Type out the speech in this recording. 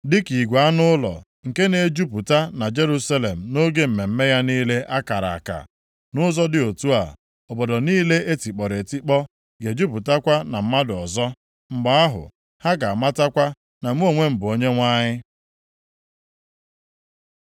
dịka igwe anụ ụlọ, nke na-ejupụta na Jerusalem nʼoge mmemme ya niile a kara aka. Nʼụzọ dị otu a, obodo niile e tikpọrọ etikpọ ga-ejupụtakwa na mmadụ ọzọ. Mgbe ahụ ha ga-amatakwa na mụ onwe m bụ Onyenwe anyị.”